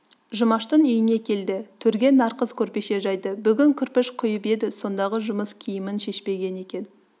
жұмаштың үйіне келді төрге нарқыз көрпеше жайды бүгін кірпіш құйып еді сондағы жұмыс киімін шешпеген екен